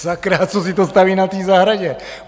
Sakra, co si to staví na té zahradě?